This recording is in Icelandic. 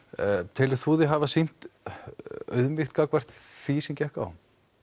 telur þú þig hafa sýnt auðmýkt gagnvart því sem gekk á